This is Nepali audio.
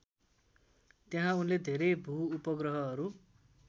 त्यहाँ उनले धेरै भूउपग्रहहरू